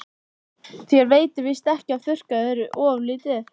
Þér veitir víst ekki af að þurrka þig ofurlítið.